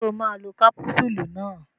Ṣé o máa lo kápúsúlù náà.